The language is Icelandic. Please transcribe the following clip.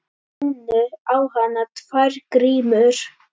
Runnu á hana tvær grímur.